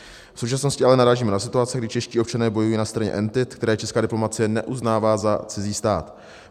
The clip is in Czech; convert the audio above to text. V současnosti ale narážíme na situaci, kdy čeští občané bojují na straně entit, které česká diplomacie neuznává za cizí stát.